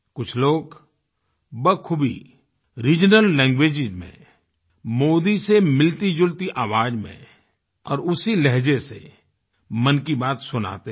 कुछ लोग बखूबी रिजनल लैंग्वेज में मोदी से मिलतीजुलती आवाज़ में और उसी लहज़े से मन की बात सुनाते हैं